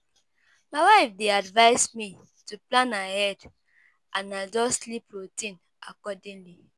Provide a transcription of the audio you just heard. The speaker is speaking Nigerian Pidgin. My wife dey advise me to plan ahead and adjust sleep routine accordingly.